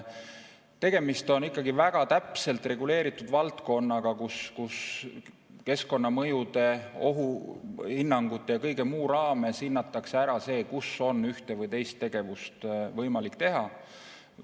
Tegemist on ikkagi väga täpselt reguleeritud valdkonnaga, kus keskkonnamõjude, ohuhinnangute ja kõige muuga seoses hinnatakse ära, kus on ühte või teist tegevust võimalik teha.